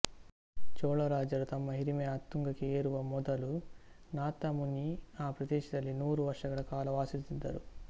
ಚೋಳ ರಾಜರು ತಮ್ಮ ಹಿರಿಮೆಯ ಉತ್ತುಂಗಕ್ಕೆ ಏರುವ ಮೊದಲು ನಾಥಮುನಿ ಆ ಪ್ರದೇಶದಲ್ಲಿ ನೂರು ವರ್ಷಗಳ ಕಾಲ ವಾಸಿಸುತ್ತಿದ್ದರು